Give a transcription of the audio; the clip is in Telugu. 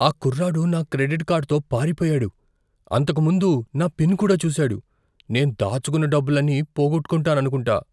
ఆ కుర్రాడు నా క్రెడిట్ కార్డుతో పారిపోయాడు. అంతకు ముందు నా పిన్ కూడా చూశాడు. నేను దాచుకున్న డబ్బులన్నీ పోగొట్టుకుంటాననుకుంటా.